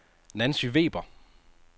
Nancy Weber